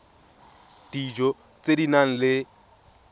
dijo tse di nang le